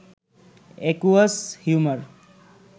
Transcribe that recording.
aqueous humour